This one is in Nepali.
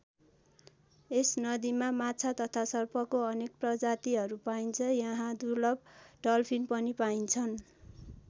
यस नदीमा माछा तथा सर्पको अनेक प्रजातिहरू पाइन्छन्। यहाँ दुर्लभ डल्फिन पनि पाइन्छन्।